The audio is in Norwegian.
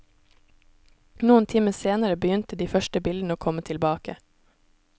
Noen timer senere begynte de første bildene å komme tilbake.